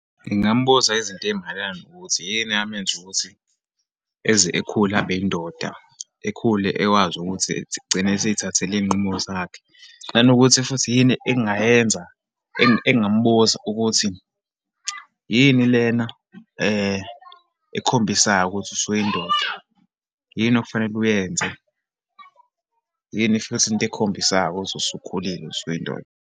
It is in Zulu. Ngingambuza izinto eyimayelana nokuthi, yini eyamenza ukuthi eze ekhule abeyindoda, ekhule ekwazi ukuthi egcine eseyithathela iyinqumo zakhe. Nanokuthi futhi yini engingayenza. engingambuza ukuthi, yini lena ekhombisayo ukuthi usuyindoda, yini okufanele uyenze, yini futhi into ekhombisayo ukuthi usukhulile, usuyindoda.